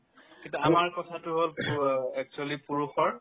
কিন্তু আমাৰ কথাতো হ'ল পু অ ing actually পুৰুষৰ